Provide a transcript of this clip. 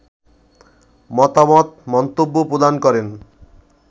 মতামত, মন্তব্য প্রদান করেন